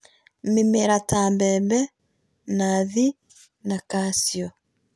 Mĩmera ta maembe, nathii na kaciũ